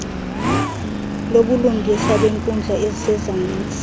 lobulungisa beenkundla ezisezantsi